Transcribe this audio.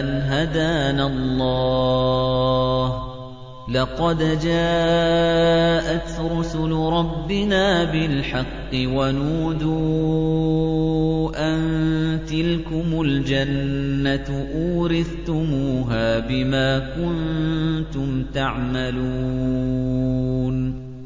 أَنْ هَدَانَا اللَّهُ ۖ لَقَدْ جَاءَتْ رُسُلُ رَبِّنَا بِالْحَقِّ ۖ وَنُودُوا أَن تِلْكُمُ الْجَنَّةُ أُورِثْتُمُوهَا بِمَا كُنتُمْ تَعْمَلُونَ